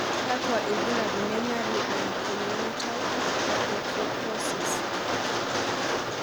Kakwa ibulabul le Marie Unna congenital hypotrichrosis?